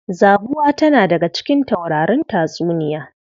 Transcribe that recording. Zabuwa tana daga cikin taurarin tatsuniya.